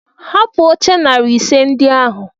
Hapụ oche narị ise ndị ahụ!